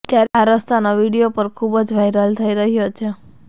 ત્યારે આ રસ્તાનો વીડિયો પર ખુબ વાયરલ થઈ રહ્યો છે